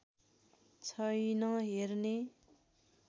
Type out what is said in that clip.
छैन हेर्ने